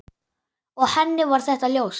Og henni var þetta ljóst.